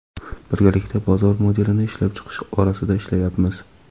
Birgalikda bozor modelini ishlab chiqish borasida ishlayapmiz.